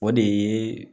O de ye